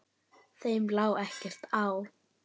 Þeim lá ekkert á.